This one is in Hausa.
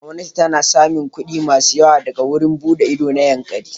Gwamnati ta sami kuɗi masu yawa daga wurin buɗe ido na Yankari.